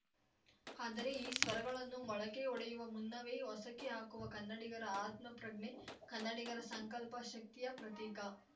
ಆದರೆ ಈ ಸ್ವರಗಳನ್ನು ಮೊಳಕೆ ಒಡೆಯುವ ಮುನ್ನವೇ ಹೊಸಕಿ ಹಾಕುವ ಕನ್ನಡಿಗರ ಆತ್ಮಪ್ರಜ್ಞೆ ಕನ್ನಡಿಗರ ಸಂಕಲ್ಪ ಶಕ್ತಿಯ ಪ್ರತೀಕ